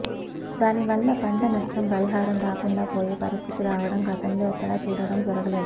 దాని వల్ల పంట నష్టం పరిహారం రాకుండా పోయే పరిస్థితి రావడం గతంలో ఎక్కడా చూడడం జరగలేదు